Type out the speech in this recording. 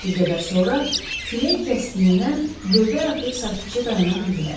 Bir qədər sonra külək kəsdiyindən lövbər atıb sakitcə dayana bildilər.